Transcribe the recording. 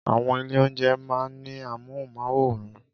Àwọn ilé-oúnjẹ máa ń ní amóhùnmáwòràn